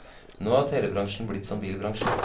Nå er telebransjen blitt som bilbransjen.